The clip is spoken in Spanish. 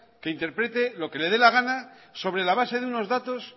que interprete lo que le da la gana sobre la base de unos datos